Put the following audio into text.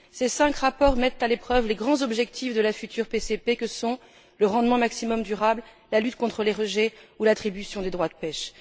Ces cinq rapports mettent à l'épreuve les grands objectifs de la future PCP que sont le rendement maximum durable, la lutte contre les rejets ou l'attribution des droits de pêche.